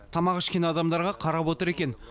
тамақ ішкен адамдарға қарап отыр екен